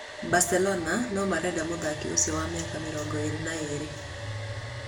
Barcelona no marenda mũthaki ũcio wa mĩaka mĩrongo ĩĩrĩ na ĩĩrĩ